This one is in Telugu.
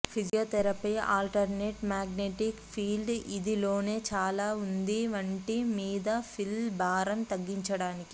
ఫిజియోథెరపీ ఆల్టర్నేట్ మ్యాగ్నెటిక్ ఫీల్డ్ ఇది లోనే చాలా ఉంది వంటి మీద పిల్ భారం తగ్గించడానికి